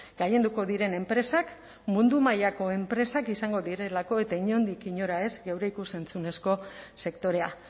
gailenduko diren enpresak mundu mailako enpresak izango direlako eta inondik inora ez geure ikus entzunezko sektorea